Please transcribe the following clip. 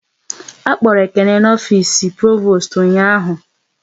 A kpọrọ Ekene n'ofisi Provost ụnyaahụ